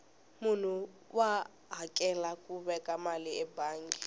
munhu wa hakela ku veka mali ebangi